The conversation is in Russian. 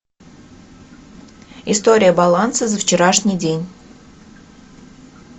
история баланса за вчерашний день